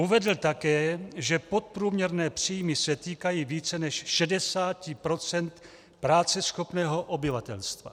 Uvedl také, že podprůměrné příjmy se týkají více než 60 % práceschopného obyvatelstva.